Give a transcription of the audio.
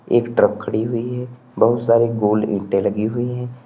एक ट्रक खड़ी हुई है बहुत सारे गोल ईंटे लगी हुई है।